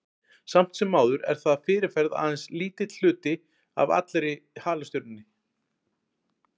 Samt sem áður er það að fyrirferð aðeins lítill hluti af allri halastjörnunni.